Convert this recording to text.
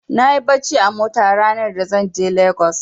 Nayi barci a mota ranar za zan je Lagos.